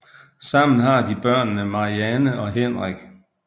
Sammen har de børnene Marianne og Henrik